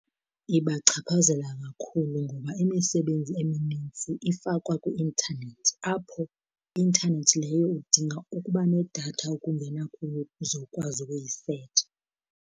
Ibachaphazela kakhulu ngoba imisebenzi eminintsi ifakwa kwi-intanethi apho intanethi leyo udinga ukuba nedatha ukungena kuyo uzowukwazi ukuyisetsha.